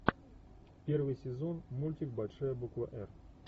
первый сезон мультик большая буква р